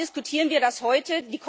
Warum diskutieren wir das heute?